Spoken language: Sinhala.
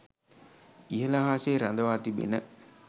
ඉහළ අහසේ රඳවා තිබෙන